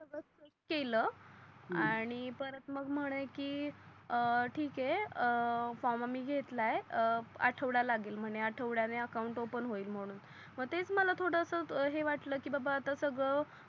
केल हम्म आणि परत मग म्हणे की ठीक आहे फॉर्म आम्ही घेतला आहे आढवडा लागेल म्हणे आढवडयाणे अकाउंट ओफन होईल म्हणून मग तेच मला थोडस हे वाटल की बाबा आता सगड